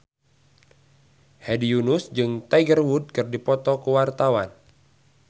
Hedi Yunus jeung Tiger Wood keur dipoto ku wartawan